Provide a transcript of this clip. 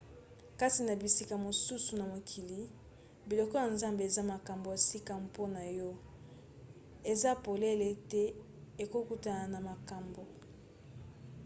kasi na bisika mosusu na mokili biloko ya zamba eza makambo ya sika mpona yo eza polele ete okokutana na makambo